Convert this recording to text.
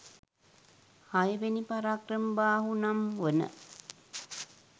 හයවෙනි පරාක්‍රමබාහු නම් වන